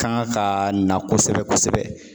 Kan ka na kosɛbɛ kosɛbɛ